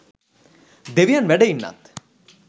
දෙවියන් වැඩ ඉන්නත්